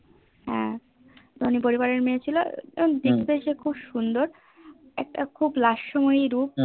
হ্যান ধোনি পরিবার এর মেয়ে ছিল দেখতে সে খুব সুন্দর একটা খুব লাস্য মোই রূপ